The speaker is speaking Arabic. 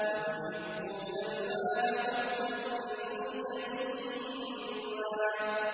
وَتُحِبُّونَ الْمَالَ حُبًّا جَمًّا